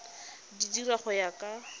di dira go ya ka